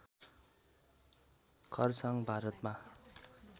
खरसाङ भारतमा